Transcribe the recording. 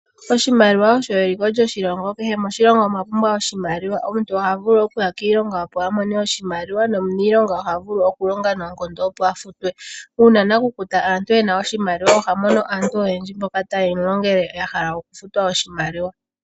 Oshimaliwa osho eliko lyoshilongo, kehe oshilongo osha pumbwa oshimaliwa. Omuntu oha vulu okuya kiilonga opo a mone oshimaliwa nomuniilonga oha vulu okuya kiilonga, opo a futwe uuna nakukuta aantu e na oshimaliwa oha mono aantu oyendji mboka ta ye mu longele ya hala okufutwa oshimaliwa.